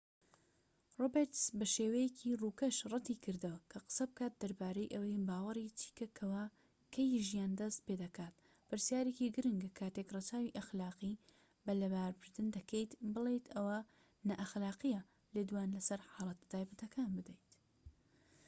ڕۆبێرتس بە شێوەیەکی ڕووکەش ڕەتی کردەوە کە قسە بکات دەربارەی ئەوەی باوەڕی چیکە کەوا کەی ژیان دەست پێدەکات پرسیارێکی گرنگە کاتێک ڕەچاوی ئەخلاقی لەباربردن دەکەیت بڵێیت ئەوە نائەخلاقییە لێدوان لەسەر حاڵەتە تایبەتەکان بدەیت